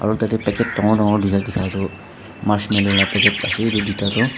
tatae packet dangor dangor tuita dikha toh marshmallow la packet ase edu tuita toh.